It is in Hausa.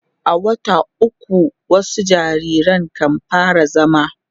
a wata ukwu wasu jariran kan fara zama